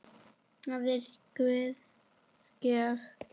Það er Guðs gjöf.